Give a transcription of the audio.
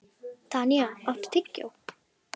Tanya, áttu tyggjó?